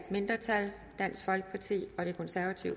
mindretal